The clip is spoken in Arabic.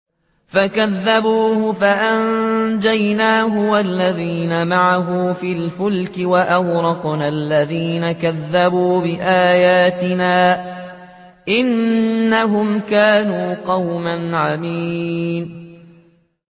فَكَذَّبُوهُ فَأَنجَيْنَاهُ وَالَّذِينَ مَعَهُ فِي الْفُلْكِ وَأَغْرَقْنَا الَّذِينَ كَذَّبُوا بِآيَاتِنَا ۚ إِنَّهُمْ كَانُوا قَوْمًا عَمِينَ